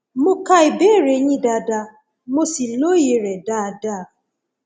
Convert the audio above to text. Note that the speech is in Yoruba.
mo ka ìbéèrè yín dáadáa mo sì lóye rẹ dáadáa